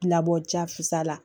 Labɔ ja fisaya la